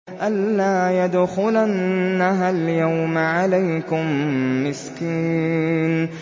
أَن لَّا يَدْخُلَنَّهَا الْيَوْمَ عَلَيْكُم مِّسْكِينٌ